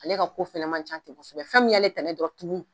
Ale ka ko fɛnɛ ma ca ten kosɛbɛ fɛn mun y'ale tanan ye dɔrɔn tumun